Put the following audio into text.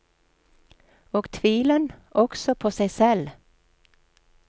Og tvilen, også på seg selv.